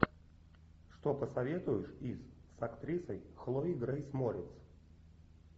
что посоветуешь из с актрисой хлоей грейс морец